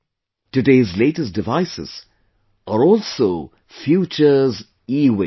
Today's latest devices are also future's EWaste